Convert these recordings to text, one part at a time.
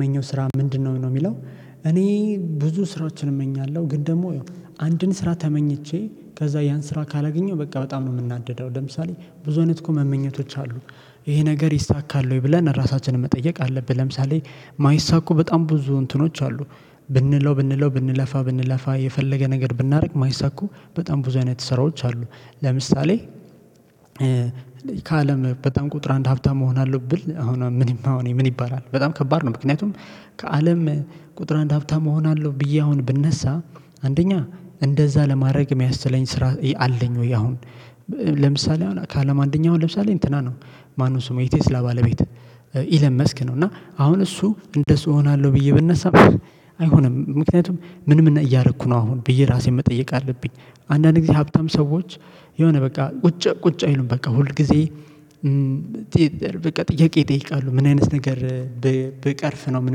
መኘው ስራ ምንድነው? ነው የሚለው። እኔ ብዙ ስራዎችን እመኛለሁ ግን ደግሞ አንድን ስራ ተመኝቼ ከዛ ያን ስራ ካላገኘሁ በቃ በጣም ነው የምናደደው። ለምሳሌ ብዙ አይነት እኮ መመኘቶች አሉ። ይሄ ነገር ይሳካል ወይ ብለን ራሳችንን መጠየቅ አለብን። ለምሳሌ የማይሳኩ በጣም ብዙ እንትኖች አሉ። ብንለው ብንለው ብንለፋ ብንለፋ የፈለገ ነገር ብናደርግ የማይሳኩ በጣም ብዙ አይነት ስራዎች አሉ። ለምሳሌ ከአለም በጣም ቁጥር አንድ ሀብታም እሆናለሁ ብል አሁንም ምንብ አሁን ምን ይባላል በጣም ከባድ ነው። ምክንያቱም ከአለም ቁጥር አንድ ሀብታም እሆናለሁ ብዬ አሁን ብነሳ አንደኛ እንደዛ ለማድረግ የሚያስችለኝ ስራ አለኝ? ወይ አሁን። ለምሳሌ አሁን ከአለም አንደኛ አሁን ለምሳሌ እንትና ነው ማንም ስሙ የቴስላ ባለቤት ኢለን መስክ ነው። እና አሁን እሱ እንደሱ እሆናለሁ ብዬ ብነሳም አይሆንም። ምክንያቱም ምንምን እያረኩ ነው አሁን ብዬ እራሴን መጠየቅ አለብኝ። አንዳንድ ጊዜ ሀብታም ሰዎች የሆነ በቃ ቁጭ ቁጭ አይሉም በቃ ሁል ጊዜ። በቃ ጥያቄ ይጠይቃሉ ምን አይነት ነገር ብ ብቀርፍ ነው? ምን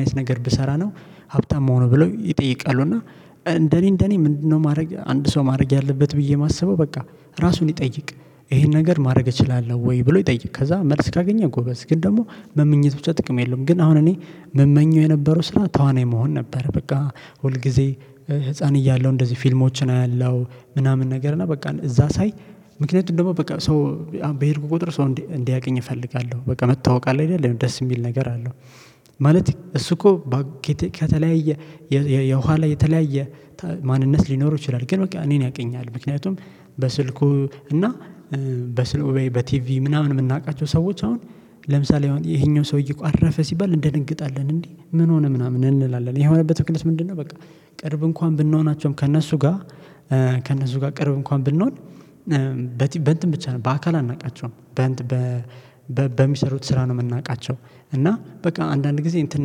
አይነት ነገር ብሰራ ነው? ሀብታም የምሆነው ብለው ይጠይቃሉ። እና እንደኔ እንደኔ ምንድነው ማድረግ አንድ ሰው ማድረግ ያለበት ብዬ የማስበው በቃ ራሱን ይጠይቅ። ይሄን ነገር ማድረግ እችላለሁ ወይ ብሎ ይጠይቅ። ከዛ መልስ ካገኘ ጎበዝ ግን ደግሞ መመኘት ብቻ ጥቅም የለውም። ግን አሁን እኔ ምመኘው የነበረው ስራ ተዋናይ መሆን ነበር። በቃ ሁል ጊዜ ህፃን እያለሁ እንደዚህ ፊልሞችን አያለሁ ምናምን ነገር እና በቃ እዛ ሳይ። ምክንያቱም ደግሞ በቃ ሰው በሄድኩ ቁጥር ሰው እንዲያውቅኝ እፈልጋለሁ በቃ መታወቅ አለ አይደለም ደስ የሚል ነገር አለው። ማለት እሱ እኮ ከተለያየ የኋላ የተለያየ ማንነት ሊኖረው ይችላል። ግን በቃ እኔን ያውቀኛል። ምክንያቱም በስልኩ እና በስልኩ ወይ በቲቪ ምናምን የምናውቃቸው ሰዎች አሁን ለምሳሌ አሁን ይሄኛው ሰውዬ እኮ አረፈ ሲባል እንደነግጣለን እንዴ? ምን ሆነ ምናምን እንላለን። ይሄ የሆነበት ምክንያት ምንድነው? በቃ ቅርብ እንኳን ብንሆናቸውም ከእነሱ ጋር። ከእነሱ ጋር ቅርብ እንኳን ብንሆን። በቲም በእንትን ብቻ ነው። በአካል አናውቃቸውም በእንት በ በሚሰሩት ስራ ነው የምናውቃቸው። እና በቃ አንዳንድ ጊዜ እንትን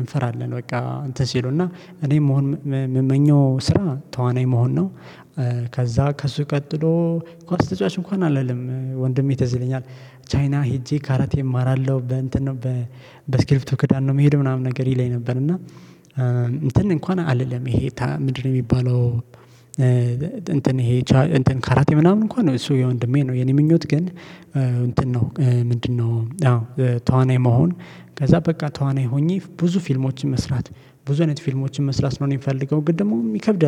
እንፈራለን በቃ እንትን ሲሉና እኔ መሆን የምመኘው ስራ ተዋናይ መሆን ነው። ከዛ ከሱ ቀጥሎ ኳስ ተጫዋች እንኳን አልልም ወንድሜ ትዝ ይለኛል። ቻይና ሄጄ ካራቴ እማራለሁ በ እንትን ነው በ በእስክርቢቶ ክዳን ነው የምሄደው ምናምን ነገር ይለኝ ነበር። እና እንትን እንኳን አልልም ይሄ ምንድነው የሚባለው? እንትን ይሄ እንትን ካራቴ ምናምን እንኳን እሱ የወንድሜ ነው። የኔ ምኞት ግን እንትን ነው ምንድነው? አዎ ተዋናይ መሆን። ከዛ በቃ ተዋናይ ሆኜ ብዙ ፊልሞችን መስራት ብዙ አይነት ፊልሞችን መስራት ነው። እኔ የሚፈልገው ግን ደግሞ ይከብዳል